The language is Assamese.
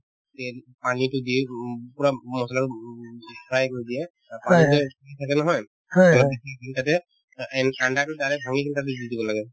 then পানীতো দি উব পূৰা মছলা উব fry কৰি দিয়ে তাৰপাছতে থাকে নহয় তাতে অ an and তো direct ভাঙি কিনে তাতে দি দিব লাগে